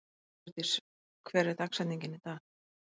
Rökkurdís, hver er dagsetningin í dag?